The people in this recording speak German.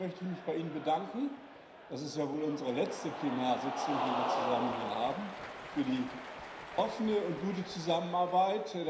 Zunächst möchte ich mich bei Ihnen bedanken das ist ja wohl unsere letzte Plenarsitzung, die wir hier zusammen haben für die offene und gute Zusammenarbeit.